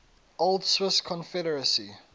old swiss confederacy